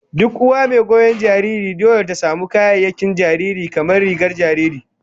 Duk uwa mai goyon jariri dole ta samu kayayyakin jariri, kamar rigar jariri